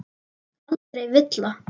Aldrei villa.